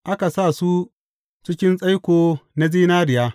Aka sa su cikin tsaiko na zinariya.